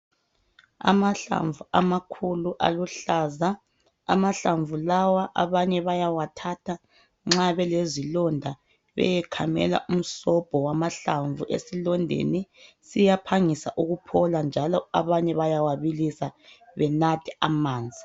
Amahlamvu amakhulu aluhlaza. Amahlamvu lawa abanye bayawathatha nxa belezilonda beyekhamela umsobho wamahlamvu esilondeni. Siyaphangisa ukuphola njalo abanye bayawabilisa benathe amanzi.